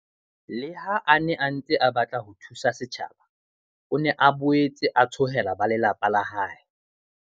Le ha a ne a ntse a batla ho thusa setjhaba, o ne a boetse a tshohela ba lelapa la hae.